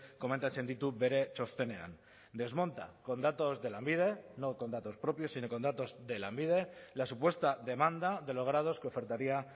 komentatzen ditu bere txostenean desmonta con datos de lanbide no con datos propios sino con datos de lanbide la supuesta demanda de los grados que ofertaría